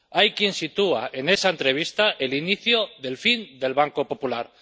Hay quien sitúa en esa entrevista el inicio del fin del Banco Popular.